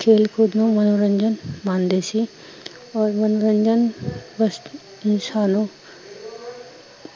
ਖੇਲ ਕੂਦ ਨੂੰ ਮਨੋਰੰਜਨ ਮਾਣਦੇ ਸੀ, ਓਰ ਮਨੋਰੰਜਨ, ਬਹ ਸਾਲੋਂ